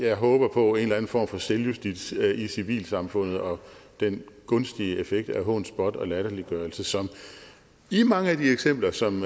jeg håber på en eller anden form for selvjustits i civilsamfundet og den gunstige effekt af hån spot og latterliggørelse som i mange af de eksempler som